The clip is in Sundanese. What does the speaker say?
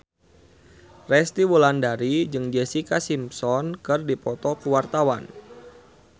Resty Wulandari jeung Jessica Simpson keur dipoto ku wartawan